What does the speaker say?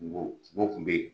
Kungo, sogo kun bɛ yen